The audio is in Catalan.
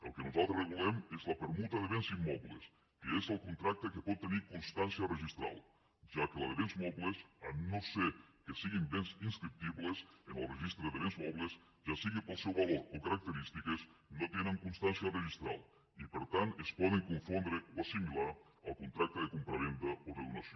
el que nosaltres regulem és la permuta de béns immobles que és el contracte que pot tenir constància registral ja que la de béns mobles llevat que siguin béns inscriptibles en el registre de béns mobles ja sigui pel seu valor o característiques no tenen constància registral i per tant es poden confondre o assimilar al contracte de compravenda o de donació